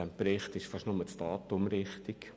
In diesem Bericht ist beinahe nur das Datum korrekt.